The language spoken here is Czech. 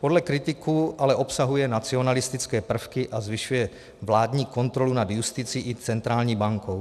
Podle kritiků ale obsahuje nacionalistické prvky a zvyšuje vládní kontrolu nad justicí i centrální bankou.